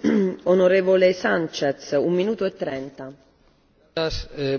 Señora